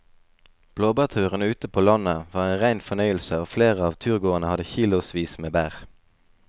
Blåbærturen ute på landet var en rein fornøyelse og flere av turgåerene hadde kilosvis med bær.